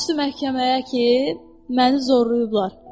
Qorxurdu məhkəməyə ki, məni zorlayıblar.